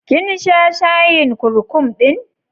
Kin sha shayin kurkum ɗin?